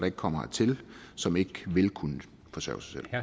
ikke kommer hertil som ikke ville kunne forsørge